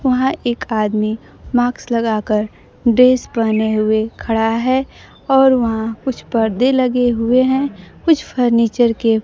वहां एक आदमी माक्स लगाकर ड्रेस पहने हुए खड़ा है और वहां कुछ परदे लगे हुए हैं कुछ फर्नीचर के--